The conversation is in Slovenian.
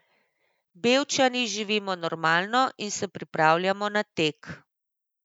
Bevčani živimo normalno in se pripravljamo na tek.